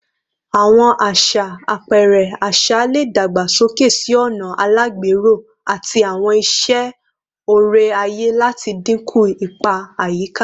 Awọn aṣa apẹrẹ aṣa le dagbasoke si ọna alagbero ati awọn iṣe ore-aye lati dinku ipa ayika